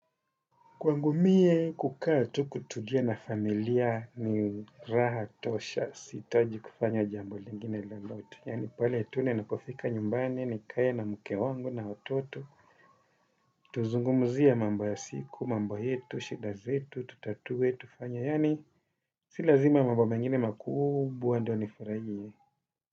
Kwangu mie kukaa tu kutulia na familia ni raha tosha, sihitaji kufanya jambo lingine lolote. Yaani pale tu ninapofika nyumbani nikae na mke wangu na watoto. Tuzungumuzie mambo ya siku, mambo yetu, shida zetu tutatue, tufanye yaani si lazima mambo mengine makubwa ndio nifurahie.